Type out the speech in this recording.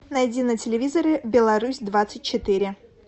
найди на телевизоре беларусь двадцать четыре